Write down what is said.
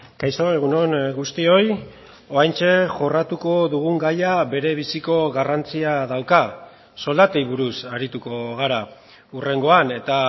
kaixo egun on guztioi oraintxe jorratuko dugun gaia berebiziko garrantzia dauka soldatei buruz arituko gara hurrengoan eta